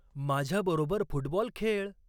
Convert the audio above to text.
माझ्याबरोबर फुटबॉल खेळ.